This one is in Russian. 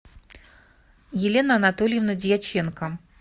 елена анатольевна дьяченко